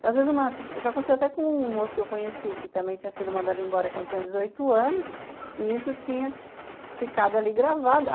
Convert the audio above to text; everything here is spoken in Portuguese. Então às vezes, uma... já aconteceu até com um moço que eu conheci, que também tinha sido mandado embora quando tinha dezoito anos, e isso tinha ficado ali gravado.